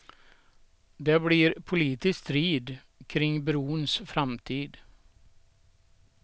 Det blir politisk strid kring brons framtid.